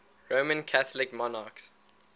roman catholic monarchs